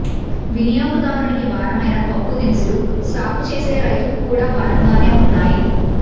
వినియోగదారునికి భారమైన పప్పు దినుసులు సాగు చేసే రైతుకు కూడా భారంగానే ఉన్నాయి